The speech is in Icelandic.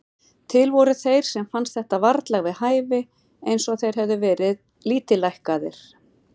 Til voru þeir sem fannst þetta varla við hæfi, eins og þeir hefðu verið lítillækkaðir.